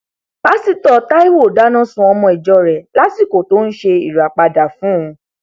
pásítọ taiwo dáná sun ọmọ ìjọ rẹ lásìkò tó ń ṣe ìràpadà fún un